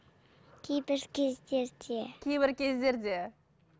кейбір кездерде кейбір кездерде